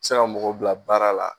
Se ka mɔgɔ bila baara la.